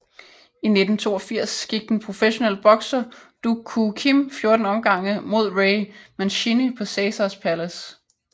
I 1982 gik den professionelle bokser Duk Koo Kim 14 omgange mod Ray Mancini på Caesars Palace